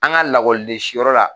An ka lakɔliden si yɔrɔ la.